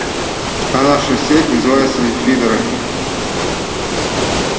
а наша сеть называется фидоро